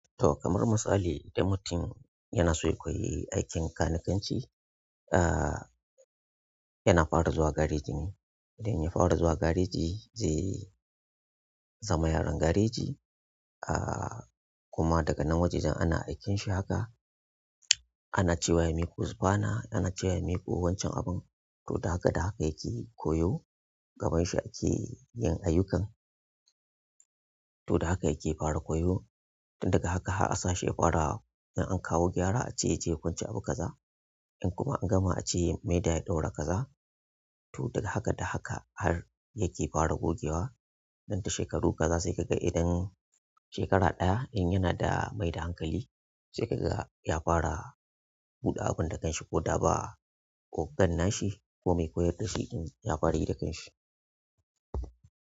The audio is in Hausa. To kamar misali idan mutum yana so ya koyi aikin kanikanci, ah yana fara zuwa gareji ne. Idan ya fara zuwa gareji zai zama yaron gareji. Ah, kuma daga nan wajajen ana aiken shi haka ana cewa ya miƙo supana, ana cewa ya miƙo wan can abun. To da haka da haka yake koyo, gaban shi ake yin ayyukan to da haka yake fara koyo. Tun daga haka har a sa shi ya fara, in an kawo gyara a ce ya je ya kwance abu kaza. In kuma an gama ace ya maida ya ɗaure kaza to daga haka da haka har yake fara gogewa. Nan da shekaru kaza sai ka ga idan shekara ɗaya, in yana da mai da hankali, sai ka ga ya fara buɗe abun da kansa ko da ba ogan nashi ko mai koyar da shi in ya fara yi da kan shi.